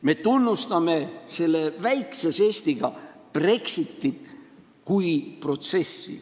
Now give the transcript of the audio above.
" Meie tunnustame selle väikse žestiga Brexitit kui protsessi.